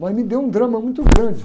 Mas me deu um drama muito grande.